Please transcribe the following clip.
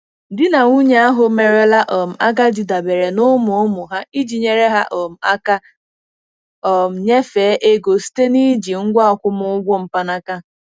Di na nwunye ahụ merela um agadi dabere na ụmụ ụmụ ha iji nyere ha um aka um nyefee ego site na iji ngwa akwụmụgwọ mkpanaka.